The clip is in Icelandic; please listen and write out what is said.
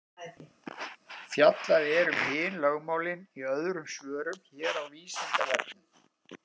Fjallað er um hin lögmálin í öðrum svörum hér á Vísindavefnum.